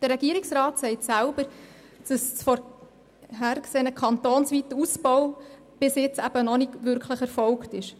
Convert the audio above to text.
Der Regierungsrat bestätigt, dass ein kantonsweiter Ausbau noch nicht erfolgt ist.